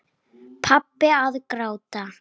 Pabbi að gráta!